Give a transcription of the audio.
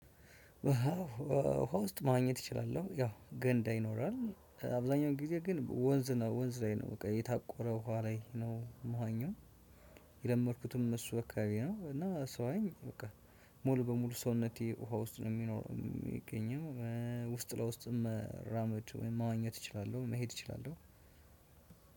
ውሃ ውስጥ መዋኘት እችላለሁ ያው ገንዳ ይኖራል አብዛኛውን ጊዜ ግን ወንዝ ነው ወንዝ ላይ ነው በቃ የታቆረው ውሃ ላይ ነው ምዋኘው። የለመድኩትም እሱ አካባቢ ነው እና ስዋኝ በቃ ሙሉ በሙሉ ሰውነቴ ውሃ ውስጥ ነው የሚኖረው የሚገኘው። ውስጥ ለውስጥ መራመድ ወይም መዋኘት እችላለሁ መሄድ እችላለሁ።